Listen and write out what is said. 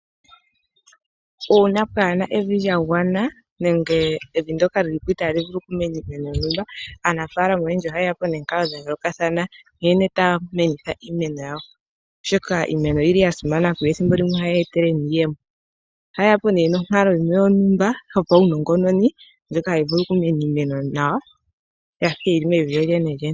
Uuna pwaana evi lyagwana nenge evi ndyoka lyilipo itali vulu oku meneka iimeno. Aanafalama oyendji oha yeyapo nomikalo dhayoolokathana nkene yena okukuna iimeno yawo. Oshoka iimeno oyili yasimana kuyo thimbo limwe ohayi yetele iiyemo. Ohaye etapo omukalo gumwe gwontumba gwopaunongononi ngono hagu vulu okukumwa iimeno yafa yili mevi lyolyene.